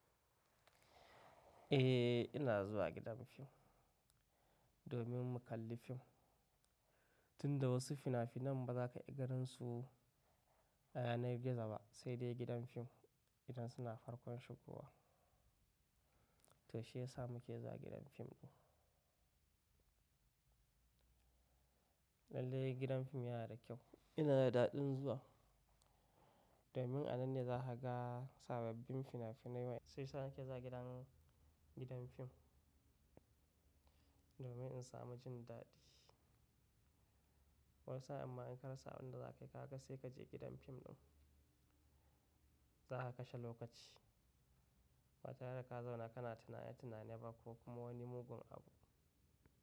Eh, ina zuwa gidan fim, domin mu kalli fim, tunda wasu fina-finan ba za ka ga gansu, a yanayin gida ba, sai dai gidan fim, idan suna farkon shigowa. To shi ya sa muke zuwa gidan fim ɗin. Lallai gidan fim yana da kyau. Ina da daɗin zuwa domin a nan ne za ka ga sababbin fina-finai wa sai sa muke zuwa gidan fim ɗin, domin in samu jin daɗi. Wani sa'in ma in ka rasa abun da za kayi, kaga sai ka je gidan fim ɗin, za ka kashe lokaci, ba tare da ka zauna ka na tunane tunane ba ko kuma wani mugun abu.